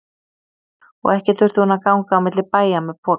Og ekki þurfti hún að ganga á milli bæja með poka.